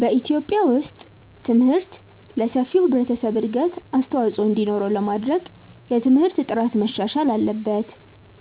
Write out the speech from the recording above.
በኢትዮጵያ ውስጥ ትምህርት ለሰፊው ህብረተሰብ እድገት አስተዋፅኦ እንዲኖረው ለማድረግ የትምህርት ጥራት መሻሻል አለበት፣